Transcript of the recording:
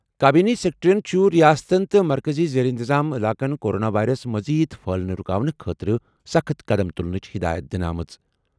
کابینی سکریٹریَن چھُ ریاستَن تہٕ مرکٔزی زیر انتظام علاقَن کورونا وائرس مزید پھیلنہٕ رُکاونہٕ خٲطرٕ سخٕت قدم تُلنٕچ ہدایت دِژمٕژ۔